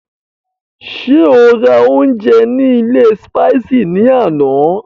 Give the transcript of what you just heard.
Ṣé o rà oúnjẹ ní ilé Spices ní àná?